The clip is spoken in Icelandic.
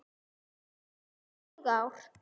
Hann hefur tekið mörg ár.